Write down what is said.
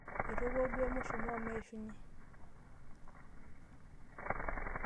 Etopuaa duo emushumaa omeishunye.